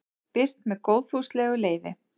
birt með góðfúslegu leyfi